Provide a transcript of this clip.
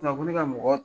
ne ka mɔgɔ